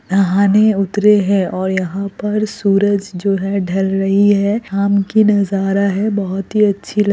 नहाने उतरे है और यहाँ पर सूरज जो है ढल रही है शाम की नजारा है बहुत ही अच्छी लग --